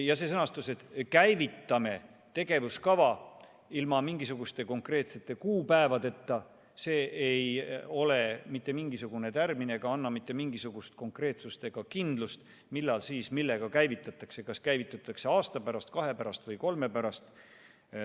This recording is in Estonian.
Ja see sõnastus, et käivitame tegevuskava, ilma mingisuguste konkreetsete kuupäevadeta, ei ole mitte mingisugune tärmin ega anna mitte mingisugust kindlust, millal ja millega see käivitatakse, kas käivitatakse aasta, kahe või kolme pärast.